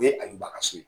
O ye ajuba kaso ye